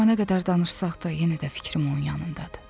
Amma nə qədər danışsaq da yenə də fikrim onun yanındadır.